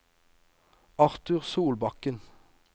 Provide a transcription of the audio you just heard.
Arthur Solbakken